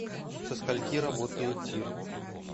со скольки работает тир